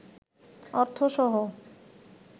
অর্থসহ